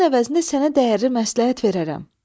Bunun əvəzində sənə dəyərli məsləhət verərəm.